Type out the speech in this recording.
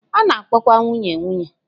A na-akpọkwa nwunye nwunye.